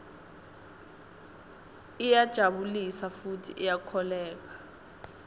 iyajabulisa futsi iyakholweka